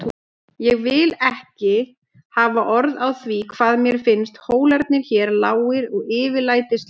Ég vil ekki hafa orð á því hvað mér finnst hólarnir hér lágir og yfirlætislausir.